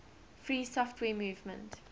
free software movement